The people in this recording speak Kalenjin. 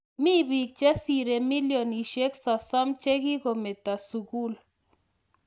Mii tibiik chesire milionishek sosom chekikometo sugul